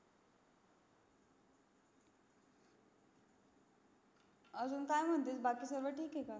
अजून काय़ म्हणते बाकी सगड ठीक आहे